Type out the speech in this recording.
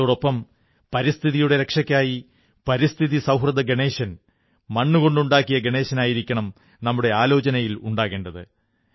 അതോടൊപ്പം പരിസ്ഥിതിയുടെ രക്ഷയ്ക്കായി പരിസ്ഥിതി സൌഹൃദ ഗണേശൻ മണ്ണുകൊണ്ടുണ്ടാക്കിയ ഗണേശനായിരിക്കണം നമ്മുടെ ആലോചനയിൽ ഉണ്ടാകേണ്ടത്